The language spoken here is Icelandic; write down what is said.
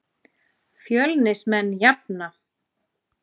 Fjölnismenn jafna.